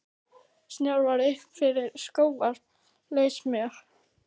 Snjór var upp fyrir skóvarp, lausamjöll.